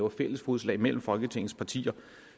af fælles fodslag mellem folketingets partier